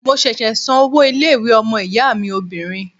Mo ṣẹ̀ṣẹ̀ san owó ilé-ìwé ọmọ-ìyá mi obìnrin.